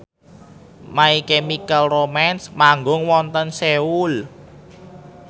My Chemical Romance manggung wonten Seoul